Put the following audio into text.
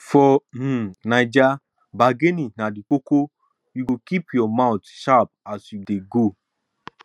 for um naija bargaining na di koko you go keep your mout sharp as you dey go